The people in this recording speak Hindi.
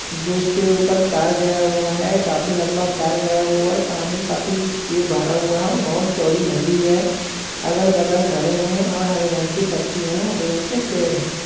जो इस पे ऊपर तार गया हुआ है काफी लंबा तार गया हुआ है पानी काफी भरा हुआ है और चौड़ी नदी है अगल-बगल घरे है और हरे रंग के पत्तियां हरे रंग के पेड़ हैं।